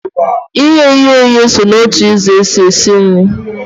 Ị ye ihe oyiye so na otu ụzọ e si esi nri.